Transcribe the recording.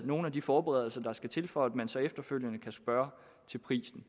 nogle af de forberedelser der skal til for at man så efterfølgende kan spørge til prisen